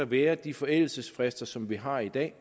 være de forældelsesfrister som vi har i dag